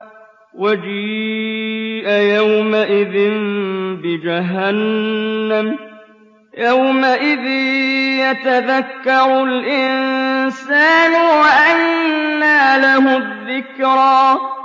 وَجِيءَ يَوْمَئِذٍ بِجَهَنَّمَ ۚ يَوْمَئِذٍ يَتَذَكَّرُ الْإِنسَانُ وَأَنَّىٰ لَهُ الذِّكْرَىٰ